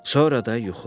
Sonra da yuxuladı.